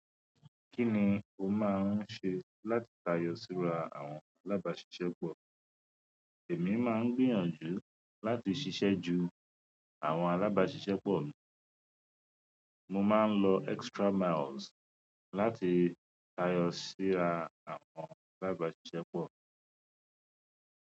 Kí ni o máa ń ṣe láti tayọ síra àwọn alábàáṣiṣẹ́ pọ̀? Èmi máa ń gbìyànjú láti ṣiṣẹ́ ju àwọn alábáṣiṣẹ́ pọ̀ mi. Mo máa ń lọ extra miles láti tayọ síra àwọn alábáṣiṣẹ́ pọ̀.